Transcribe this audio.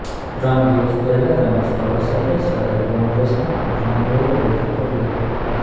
ત્રણ દિવસ પહેલાં રમેશ ધવા સાથે શહેર કોંગ્રેસના અગ્રણીઓએ બેઠક કરી હતી